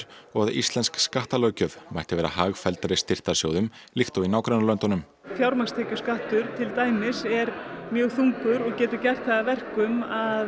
og að íslensk skattalöggjöf mætti vera hagfelldari styrktarsjóðum líkt og í nágrannalöndunum fjármagnstekjuskattur til dæmis er mjög þungur og getur gert það að verkum